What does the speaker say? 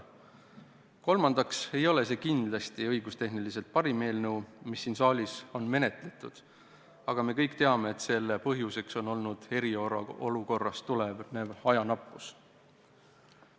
Kolmandaks, kindlasti ei ole see õigustehniliselt parim eelnõu, mida siin saalis on menetletud, aga me kõik teame, et selle põhjuseks on olnud eriolukorrast tulenev ajanappus.